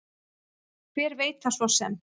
Hver veit það svo sem.